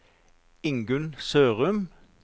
Ingunn Sørum